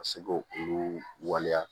Ka se ko olu waleya